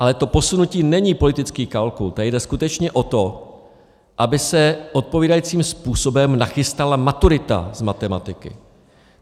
Ale to posunutí není politický kalkul, tady jde skutečně o to, aby se odpovídajícím způsobem nachystala maturita z matematiky.